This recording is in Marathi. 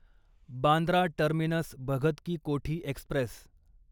Bandra terminus Bhagat ki Kothi Express